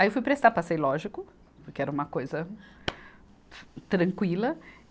Aí eu fui prestar, passei, lógico, porque era uma coisa tranquila.